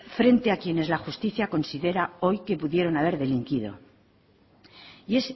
frente a quienes la justicia considera hoy que pudieron haber delinquido y